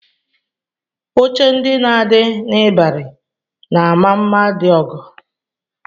Oche ndị na-adị n'ịbarị na-ama mma dị ọgọ